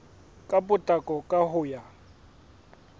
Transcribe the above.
ka potlako ka ho ya